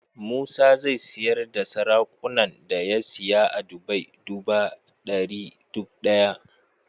Musa zai siyar da saraƙunan da ya siya a dubai duba dari duk daya